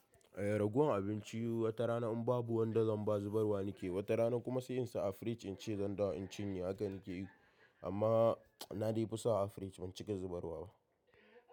Eh, ragowar abinci wata rana in babu wanda zan ba zubarwa nake yi. Wata rana kuma sai in sa a fridge in ce zan dawo in cinye haka nake yi. Amma na dai fi sawa a fridge ban cika zubarwa ba.